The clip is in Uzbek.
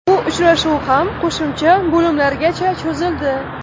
Bu uchrashuv ham qo‘shimcha bo‘limlargacha cho‘zildi.